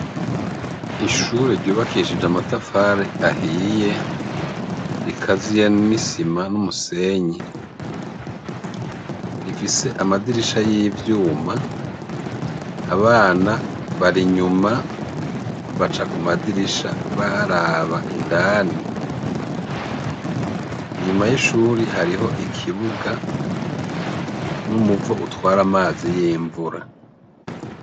Ikigo c'ishure cubakishij' amatafar' ahiye rikaziye n'isima n'umusenyi, rifis' amadirisha n' imiryango y'ivyuma bisiz' irangi ry' icatsi kibisi, hanze har'abanyeshure bambay' umwambar' ubaranga bahagaz' imbere y' ishur' ubonako barindiriy' amasah' agere ngo binjire mw' ishure, imbere har'ikibuga c' ivu kandi harikwak' akazuba kenshi.